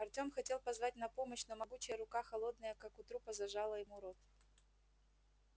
артём хотел позвать на помощь но могучая рука холодная как у трупа зажала ему рот